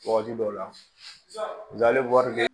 Waati dɔw la